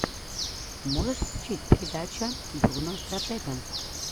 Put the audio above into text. можешь включить передача бруно стратега